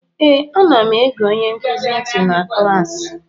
Ee, anam ege onye nkuzi ntị na klaasị